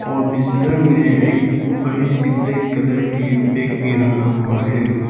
और बिस्तर में एक बड़ी सी ब्लैक कलर की बैग भी रहा हुआ है।